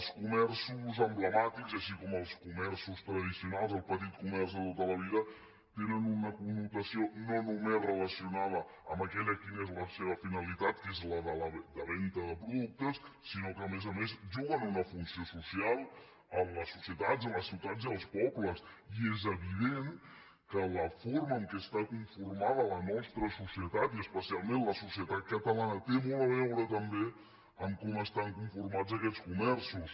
els comerços emblemàtics com els comerços tradicionals el petit comerç de tota la vida tenen una connotació no només relacionada amb aquella que és la seva finalitat que és la venda de productes sinó que a més a més juguen una funció social en la societat en les ciutats i els pobles i és evident que la forma en què està conformada la nostra societat i especialment la societat catalana té molt a veure també amb com estan conformats aquests comerços